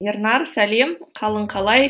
ернар сәлем қалың қалай